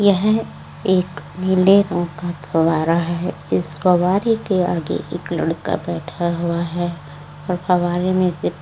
यह एक नीले रंग का फवारा है। इस फवारे के आगे एक लड़का बैठा हुआ है और फवारे में से --